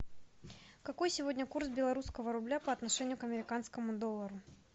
какой сегодня курс белорусского рубля по отношению к американскому доллару